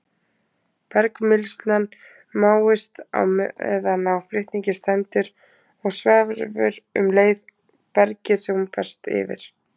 Bergmylsnan máist meðan á flutningi stendur og sverfur um leið bergið sem hún berst yfir.